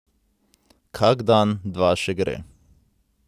Kak dan, dva še gre.